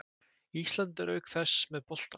Ísland er auk þess með boltann